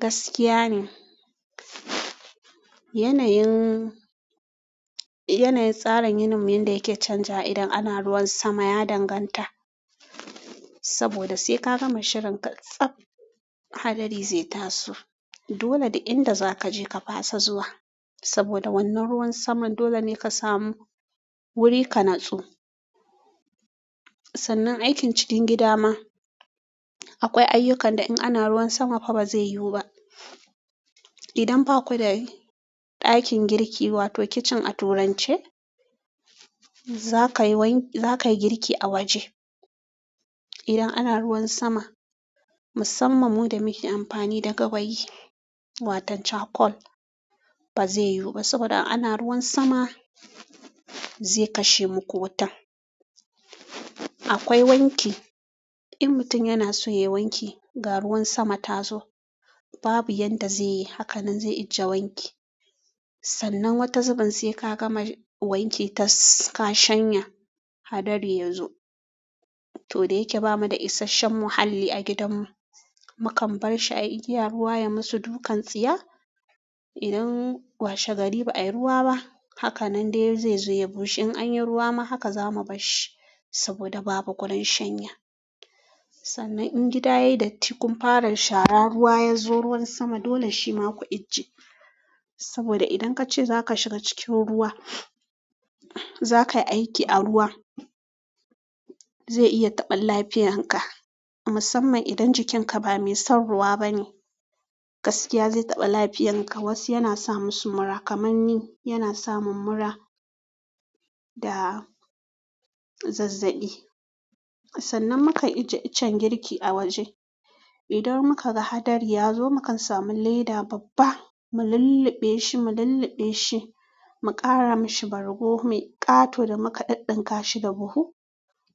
Gaskiya ne. Yanayin, yanayin tsarin yinin mu yanda yake canjawa idan ana ruwan sama ya danganta. Saboda sai ka gama shirin ka tsab hadari zai taso. Dole da inda zaka je ka fasa zuwa. Saboda wannan ruwan saman dole ne ka samu wuri ka nutsu. Sannan aikin cikin gida ma akwai ayyukan da in ana ruwan sama fa ba zai yiwu ba. Idan baku da ɗakin girki wato kitchen a turance za kayi wan, za kayi girki a waje. Idan ana ruwan sama musamman mu da muke amfani da gawayi watan cakol ba zai yiwu ba saboda ana ruwan sama zai kashe muku wutan. Akwai wanki, in mutum yana so yayi wanki ga ruwan sama ta zo babu yanda zai yi. Hakanan zai ajje wanki. Sannan wata zubin sai ka gama wanki tas ka shanya hadari ya zo. To da yake bamu da isashen muhalli a gidanmu. Mukan bar shi a igiya ruwa ya musu dukan tsiya. Idan washe gari ba a yi ruwa ba, hakanan dai zai zo ya bushe. In anyi ruwa ma haka za mu bar shi saboda babu gurin shanya. Sannan in gida yayi datti kun fara shara ruwa ya zo ruwan sama dole shi ma ku ajje. Saboda idan kace zaka shiga cikin ruwa, zakayi aiki a ruwa, zai iya taɓa lafiyar ka musamman idan jikin ka ba mai son ruwa bane. Gaskiya zai taɓa lafiyan ka. Wasu yana sa musu mura kaman ni, yana sa mun mura da zazzaɓi. Sannan mukan ijje iccen girki a waje. Idan muka ga hadari ya zo mukan samu leda babba mu lulluɓe shi, mu lulluɓe shi, mu ƙara mishi bargo mai ƙato da muka ɗinɗinka shi da buhu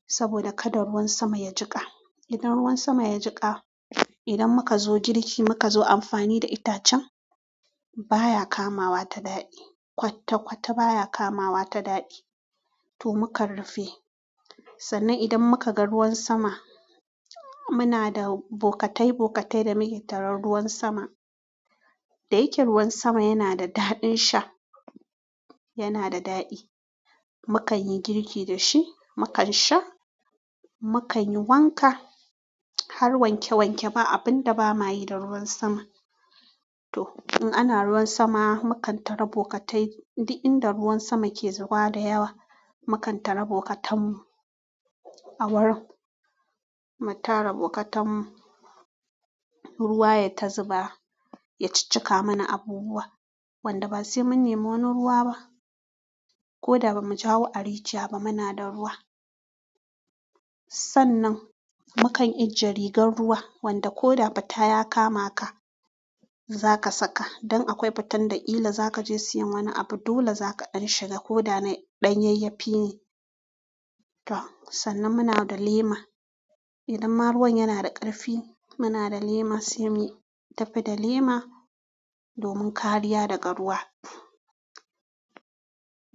saboda kada ruwan sama ya jiƙa. Idan ruwan sama ya jiƙa, idan muka zo girki muka zo amfani da itacen baya kamawa ta daɗi. Kwatta kwatta baya kamawa ta daɗi to mu kan rufe. Sannan idan muka ga ruwan sama muna da bokatai bokatai da muke tarar ruwan sama. Da yake ruwan sama yana da daɗin sha, yana da daɗi. Mu kan yi girki da shi, mu kan sha, mu kan yi wanka har wanke wanke ba abun da ba ma yi da ruwan sama. To in ana ruwan sama mu kan tara bokatai. Duk inda ruwan sama ke zuba da yawa mu kan tara bokatan mu awurin. Mu tara bokatan mu ruwa yayi ta zuba ya cikkika mana abubuwa wanda ba sai mun nemo wani ruwa ba. Ko da ba mu jawo a rijiya ba muna da ruwa. Sannan mu kan ijje rigar ruwa wanda ko da fita ya kama ka za ka saka dan akwai fitan da illa za ka je siyan wani abu dole za ka ɗan shiga ko da na ɗanyayyafi ne. To sannan muna da lema. Idan ma ruwan yana da ƙarfi muna da lema sai muyi tafi da lema domin kariya daga ruwa.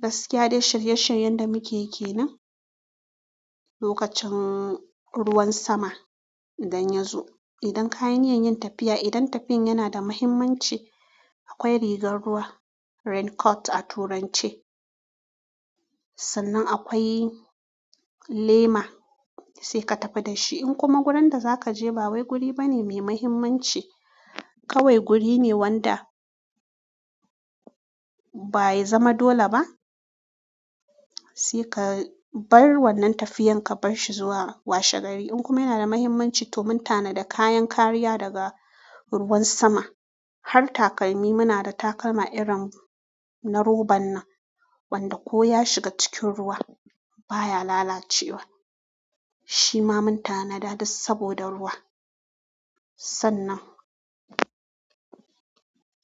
Gaskiya dai shirye shiryen da muke yi ke nan lokacin ruwan sama idan ya zo. Idan kayan yin tafiya idan tafiyan yana da muhimmanci akwai rigar ruwa raincoat a turance. Sannan akwai lema sai ka tafi da shi. In kuma wurin da za ka je ba wai guri bane mai muhimmanci kawai guri ne wanda bai zama dole ba sai ka bar wannan tafiyan ka bar shi zuwa washe gari. In kuma yana da muhimmanci to mun tana da kayan kariya daga ruwan sama. Har takalmi muna da takalma irin na roban nanwanda ko ya shiga cikin ruwa baya lalacewa. Shi ma mun tana da duk saboda ruwa. Sannan.